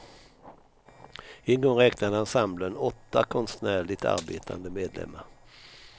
En gång räknade ensemblen åtta konstnärligt arbetande medlemmar.